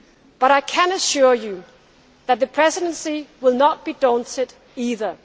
easy. But I can assure you that the Presidency will not be daunted